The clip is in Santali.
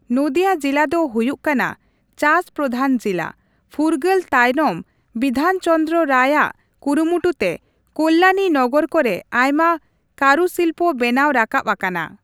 ᱱᱚᱫᱤᱭᱟ ᱡᱤᱞᱟ ᱫᱚ ᱦᱩᱭᱩᱜ ᱠᱟᱱᱟ ᱪᱟᱥ ᱯᱨᱚᱫᱷᱟᱱ ᱡᱤᱞᱟ ᱾ ᱯᱷᱩᱨᱜᱟ.ᱞ ᱛᱟᱭᱱᱚᱢ ᱵᱤᱫᱷᱟᱱᱪᱚᱱᱫᱨᱚ ᱨᱟᱭᱼᱟᱜ ᱠᱩᱨᱩᱢᱩᱴᱩ ᱛᱮ ᱠᱚᱞᱞᱟᱱᱤ ᱱᱚᱜᱚᱨ ᱠᱚᱨᱮ ᱟᱭᱢᱟ ᱠᱟᱨᱩᱥᱤᱞᱯᱚ ᱵᱮᱱᱟᱣ ᱨᱟᱠᱟᱵ ᱟᱠᱟᱱᱟ ᱾